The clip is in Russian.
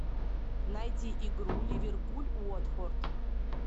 найди игру ливерпуль уотфорд